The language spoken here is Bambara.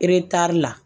Eretari la